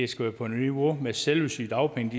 skal være på niveau med selve sygedagpengene